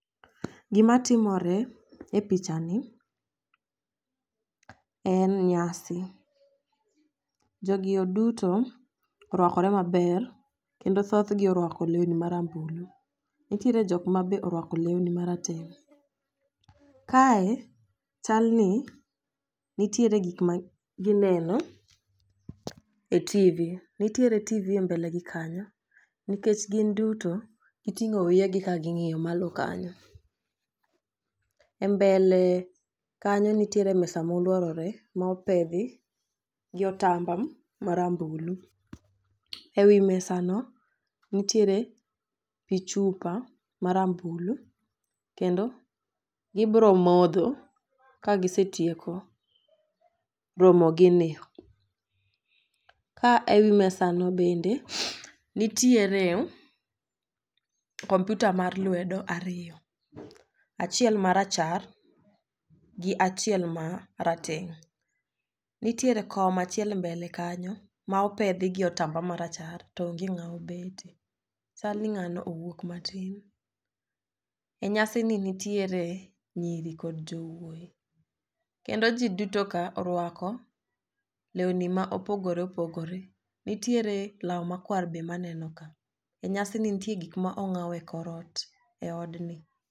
Gima timore e picha ni en nyasi. Jogi oduto orwakore maber kendo thoth gi orwako lewni marambulu. Nitiere jok mabe orwako lewni marateng'. Kae chal ni nitire gik magineno e tivi nitiere tivi e mbele gi kanyo nikech gin duto giting'o wiye gi ka ging'iyo malo kanyo. E mbele kanyo nitiere mesa moluorore mopedhi gi otamba marambulu. E wi mesa no nitiere pii chupa marambulu kendo gibro modho ka gisetieko romo gini . Ka ewi mesa no bende nitiere komputa mar lwedo ariyo, achiel marachar gi achiel ma rateng'. Nitiere kom ma achiel mbele kanyo ma opedhi gi otamba marachar to onge ng'awo bete chalni ng'ano owuok matin .E nyasi ni nitiere nyiri kod jowuoyi kendo jii duto ka owarko lewni ma opogore opogore. Nitiere law makwar be maneno ka e nyasi ni ntie gik mong'aw e korot e eodni.